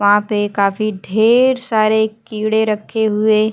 वहां पे काफी ढेर सारे कीड़े रखे हुए--